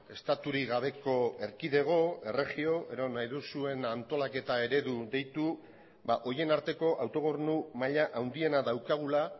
estaturik gabeko erkidego erregio edo nahi duzuen antolaketa eredu deitu horien arteko autogobernu maila handiena daukagula